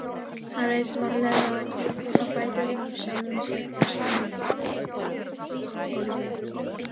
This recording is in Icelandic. Hann reis varlega á fætur úr sjálfum sér og steig fram á gólfið.